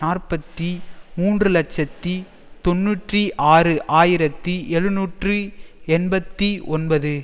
நாற்பத்தி மூன்று இலட்சத்தி தொன்னூற்றி ஆறு ஆயிரத்தி எழுநூற்றி எண்பத்தி ஒன்பது